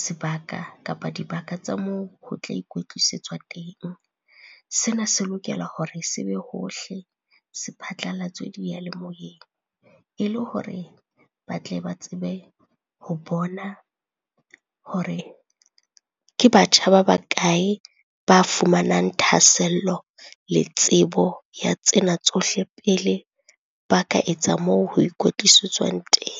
sebaka kapa dibaka tsa moo ho tla ikwetlisetswa teng. Sena se lokela hore se be hohle se phatlalatswe diyalemoyeng, e le hore ba tle ba tsebe ho bona hore ke batjha ba bakae ba fumanang thahasello le tsebo ya tsena tsohle pele ba ka etsa moo ho ikwetlisetswang teng.